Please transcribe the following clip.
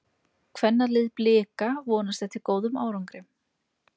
Kvennalið Blika vonast eftir góðum árangri